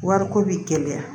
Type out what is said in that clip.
Wariko bi gɛlɛya